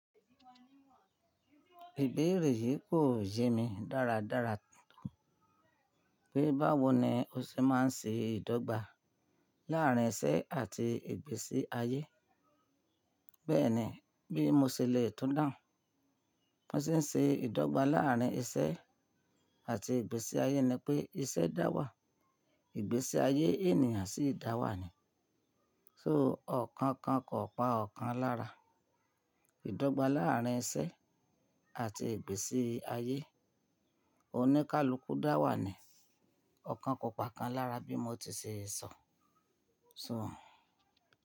Ìbéèrè yìí kò yé mi dáradára pé báwo ni o ṣe máa ń ṣe ìdọ́gba láàrín isẹ́ àti ìgbésí ayé. Bẹ́ẹ̀ ni, bí mo ṣe le tún dàhùn, mo se ń se ìdọ́gba láàrín isẹ́ àti ìgbésí ayé ni pé iṣẹ́ dá wà, ìgbésí ayé ènìyàn sì dá wà ni. So ọ̀kan kan kò pa ọ̀kan lára. Ìdọ́gba láàrín isẹ́ àti ìgbésí ayé, oníkálukú dá wà ni. Ọ̀kan kò pà kan lára bí mo ti ṣe sọ, so.